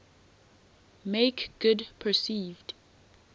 make good perceived